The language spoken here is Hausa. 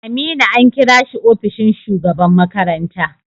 Aminu an kira shi ofishin shugaban makaranta.